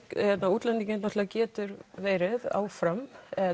útlendingar geta verið áfram